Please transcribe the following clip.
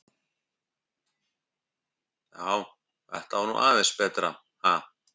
Já, þetta var nú aðeins betra, ha!